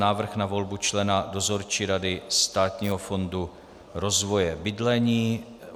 Návrh na volbu člena Dozorčí rady Státního fondu rozvoje bydlení